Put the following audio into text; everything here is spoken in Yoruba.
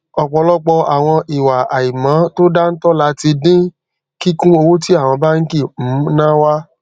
ọpọlọpọ àwọn ìwà àìmọ to dáńtọ là ti dín kíkún owó tí àwọn bánkì um náà wa